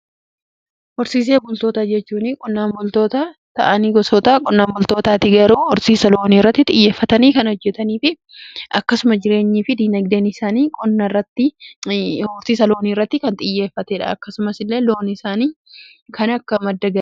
Horsiisee bultoota jechuun qonnaan boltoota ta'anii gosoota qonnaan boltootaati. Garuu horsiisa loonii irratti xiyyeeffatanii kan hojjetanii fi akkasuma jireenyii fi dinagdeen isaanii horsiisa loonii irratti kan xiyyeeffateedha. Akkasumas illee loon isaanii kan akka madda galii.